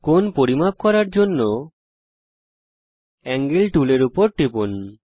কোণ পরিমাপ করার জন্যে এঞ্জেল টুলের উপর ক্লিক করুন